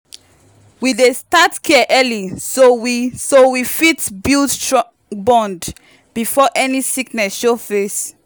we dey start care early so we so we fit build strong bond before any sickness show face.